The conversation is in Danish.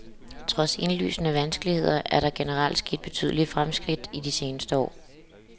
Trods indlysende vanskeligheder er der generelt sket betydelige fremskridt i de seneste år.